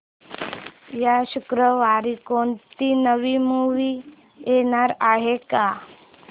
या शुक्रवारी कोणती नवी मूवी येणार आहे का